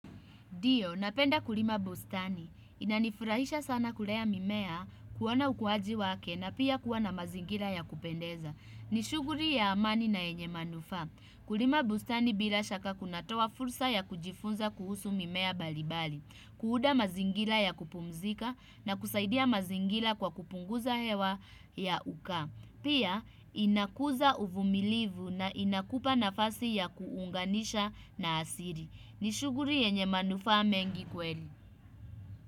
Dio, napenda kulima bustani. Inanifurahisha sana kulea mimea, kuoana ukuaji wake na pia kuwa na mazingira ya kupendeza. Ni shughuri ya amani na yenye manufaa. Kulima bustani bila shaka kunatoa fursa ya kujifunza kuhusu mimea balibali. Kuunda mazingira ya kupumzika na kusaidia mazingira kwa kupunguza hewa ya ukaa. Pia, inakuza uvumilivu na inakupa nafasi ya kuunganisha na asiri. Ni shughuri yenye manufaa mengi kweli.